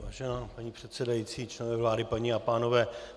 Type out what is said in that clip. Vážená paní předsedající, členové vlády, paní a pánové.